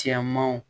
Cɛmanw